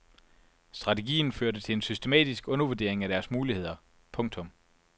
Strategien førte til en systematisk undervurdering af deres muligheder. punktum